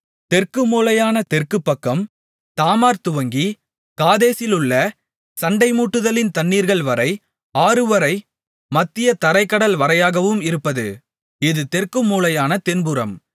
தெற்கு மூலையான தெற்கு பக்கம் தாமார் துவங்கி காதேசிலுள்ள சண்டைமூட்டுதலின் தண்ணீர்கள்வரை ஆறுவரை மத்திய தரைக் கடல்வரையாகவும் இருப்பது இது தெற்குமூலையான தென்புறம்